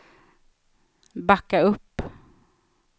backa upp